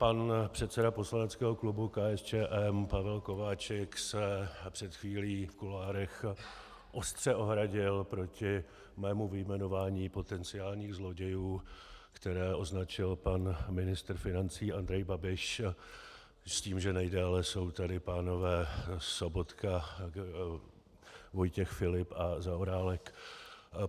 Pan předseda poslaneckého klubu KSČM Pavel Kováčik se před chvílí v kuloárech ostře ohradil proti mému vyjmenování potenciálních zlodějů, které označil pan ministr financí Andrej Babiš, s tím, že nejdéle jsou tady pánové Sobotka, Vojtěch Filip a Zaorálek.